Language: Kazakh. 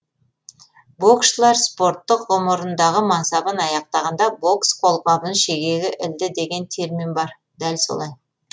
боксшылар спорттық ғұмырындағы мансабын аяқтағанда бокс қолғабын шегеге ілді деген термин бар дәл солай